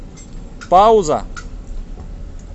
пауза